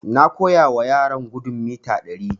Na koya ma yaran gudun mita ɗari